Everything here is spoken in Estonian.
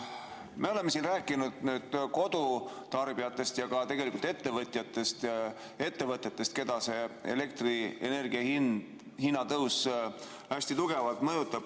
Me oleme siin rääkinud kodutarbijatest, tegelikult ka ettevõtjatest ja ettevõtetest, keda see elektrienergia hinna tõus hästi tugevalt mõjutab.